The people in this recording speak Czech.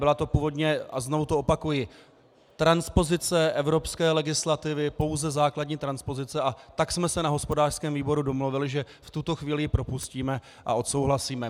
Byla to původně - a znovu to opakuji - transpozice evropské legislativy, pouze základní transpozice, a tak jsme se na hospodářském výboru domluvili, že v tuto chvíli ji propustíme a odsouhlasíme.